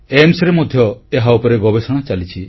AIIMSରେ ମଧ୍ୟ ଏହା ଉପରେ ଗବେଷଣା ଚାଲିଛି